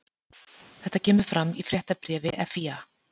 Þetta kemur fram í fréttabréfi FÍA